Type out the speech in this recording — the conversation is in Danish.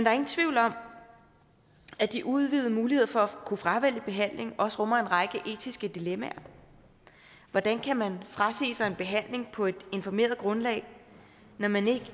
er ingen tvivl om at de udvidede muligheder for at kunne fravælge behandling også rummer en række etiske dilemmaer hvordan kan man frasige sig en behandling på et informeret grundlag når man